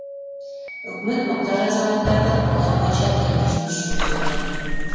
үкімет мұқтаж азаматтарды қолдау бойынша тиімді жұмыс жүргізу керек